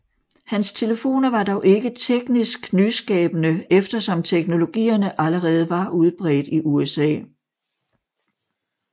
Hans telefoner var dog ikke teknisk nyskabende eftersom teknologierne allerede var udbredt i USA